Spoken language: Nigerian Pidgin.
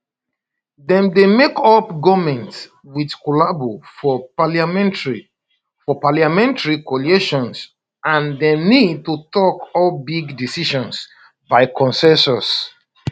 dem dey make up goments wit collabo for parliamentary for parliamentary coalitions and dem need to take all big decisions by consensus